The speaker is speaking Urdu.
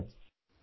پرنام پرنام سر